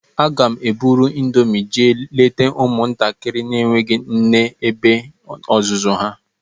Aga m eburu índomi jee leta ụmụ ntakịrị enweghị nne na ebe ọzụzụ ha.